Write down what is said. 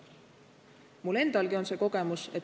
Mul endalgi on see kogemus.